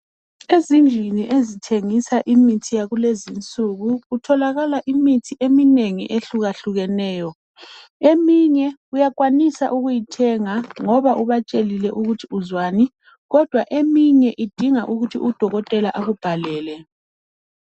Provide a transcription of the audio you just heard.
Ezindlini ezithengisa imithi yakulezi insuku kutholakala imithi eminengi ehlukahlukeneyo. Eminye uyakwanisa ukuyithenga ngoba ubatshelile ukuthi uzwani kodwa eminye idinga ukuthi udokotela akubhalele.